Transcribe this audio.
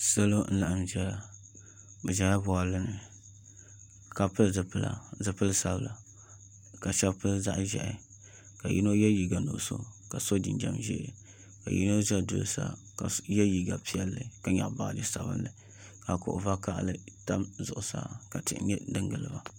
Salo n laɣam ʒɛya bi ʒɛla boɣali ni ka pili zipila zipili sabila ka shab pili zaɣ ʒiɛhi ka yino yɛ liiga nuɣso ka so jinjɛm ʒiɛ ka yino ʒɛ duli sa ka yɛ liiga piɛlli ka nyaɣa baaji sabinli ka kuɣu vakaɣali nyɛ din ʒɛ bi zuɣusaa ka tihi sa n giliba